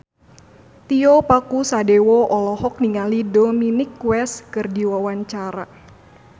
Tio Pakusadewo olohok ningali Dominic West keur diwawancara